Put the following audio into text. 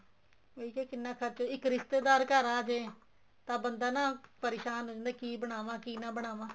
ਉਹੀ ਤਾਂ ਕਿੰਨਾ ਖਰਚਾ ਇੱਕ ਰਿਸ਼ਤੇਦਾਰ ਘਰ ਆ ਜ਼ੇ ਤਾਂ ਬੰਦਾ ਨਾ ਪਰੇਸ਼ਾਨ ਹੋ ਜਾਂਦਾ ਕੀ ਬਣਾਵਾਂ ਕੀ ਨਾ ਬਣਾਵਾ